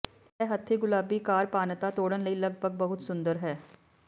ਇਹ ਹੱਥੀ ਗੁਲਾਬੀ ਕਾਰ ਪਾਨਾਤਾ ਤੋੜਨ ਲਈ ਲਗਭਗ ਬਹੁਤ ਸੁੰਦਰ ਹੈ